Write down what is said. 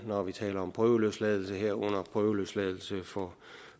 når vi taler om prøveløsladelse herunder prøveløsladelse for